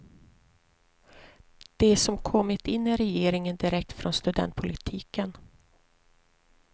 De som kommit in i regeringen direkt från studentpolitiken.